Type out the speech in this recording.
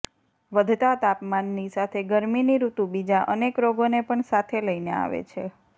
વધતા તાપમાનની સાથે ગરમીની ઋતુ બીજા અનેક રોગોને પણ સાથે લઈને આવે છે